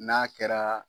N'a kɛra